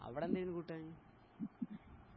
അവ്ടെന്താര്ന്ന് കൂട്ടാൻ